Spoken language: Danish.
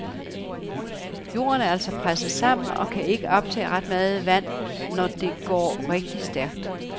Jorden er altså presset sammen og kan ikke optage ret meget vand, når det går rigtig stærkt.